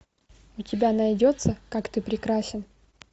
у тебя найдется как ты прекрасен